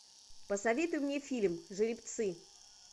посоветуй мне фильм жеребцы